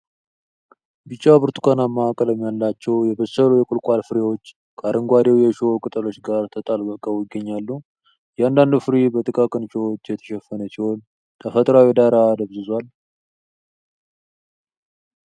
ቢጫ-ብርቱካናማ ቀለም ያላቸው የበሰሉ የቁልቋል ፍሬዎች ከአረንጓዴው የእሾህ ቅጠሎች ጋር ተጣብቀው ይገኛሉ። እያንዳንዱ ፍሬ በጥቃቅን እሾሆች የተሸፈነ ሲሆን ተፈጥሯዊው ዳራ ደብዝዧል።